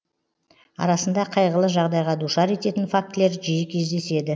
арасында қайғылы жағдайға душар ететін фактілер жиі кездеседі